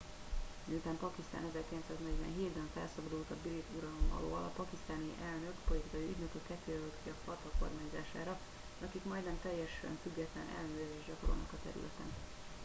miután pakisztán 1947 ben felszabadult a brit uralom alól a pakisztáni elnök politikai ügynököket jelölt ki a fata kormányzására akik majdnem teljesen független ellenőrzést gyakorolnak a területeken